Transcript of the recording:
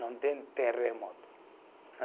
Não tem terremoto.